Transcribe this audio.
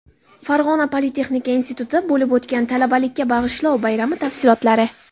Farg‘ona politexnika institutida bo‘lib o‘tgan "Talabalikka bag‘ishlov" bayrami tafsilotlari.